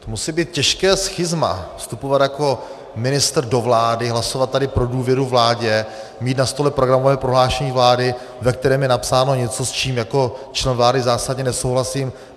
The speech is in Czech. To musí být těžké schizma vstupovat jako ministr do vlády, hlasovat tady pro důvěru vládě, mít na stole programové prohlášení vlády, ve kterém je napsáno něco, s čím jako člen vlády zásadně nesouhlasím.